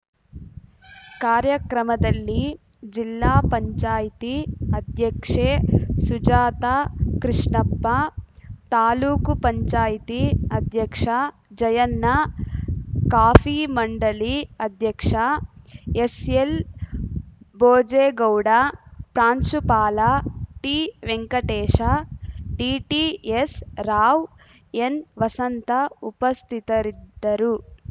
ಕಾರ್ಯಕ್ರಮದಲ್ಲಿ ಜಿಲ್ಲಾ ಪಂಚಾಯ್ತಿ ಅಧ್ಯಕ್ಷೆ ಸುಜಾತ ಕೃಷ್ಣಪ್ಪ ತಾಲ್ಲೂಕು ಪಂಚಾಯ್ತಿ ಅಧ್ಯಕ್ಷ ಜಯಣ್ಣ ಕಾಫಿ ಮಂಡಳಿ ಅಧ್ಯಕ್ಷ ಎಸ್‌ಎಲ್‌ಭೋಜೆಗೌಡ ಪ್ರಾಂಶುಪಾಲ ಟಿವೆಂಕಟೇಶ ಡಿಟಿಎಸ್‌ರಾವ್‌ ಎನ್‌ ವಸಂತ ಉಪಸ್ಥಿತರಿದ್ದರು